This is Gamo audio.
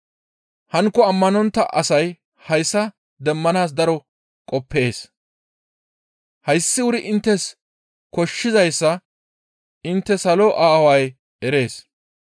Hankko ammanontta asay hayssa demmanaas daro qoppees. Hayssi wuri inttes koshshizayssa intte salo Aaway erees.